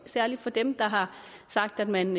særlig fra dem der har sagt at man